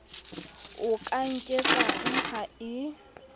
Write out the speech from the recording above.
o ka nketsang ha e